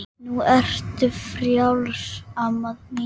Nú ertu frjáls amma mín.